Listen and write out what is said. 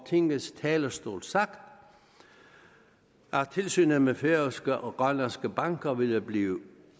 tingets talerstol sagt at tilsynet med færøske og grønlandske banker vil blive